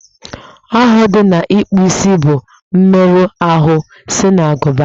Ọghọ dị na ịkpụ isi bụ mmerụ ahụ si n'agụba